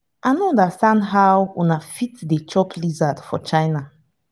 i no understand how una fit dey chop lizard for china